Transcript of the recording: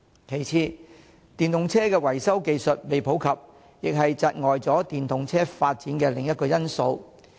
其次，電動車維修技術尚未普及，亦是窒礙電動車發展的另一個因素。